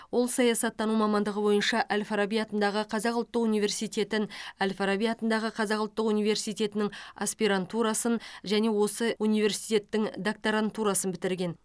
ол саясаттану мамандығы бойынша әл фараби атындағы қазақ ұлттық университетін әл фараби атындағы қазақ ұлттық университетінің аспирантурасын және осы университеттің докторантурасын бітірген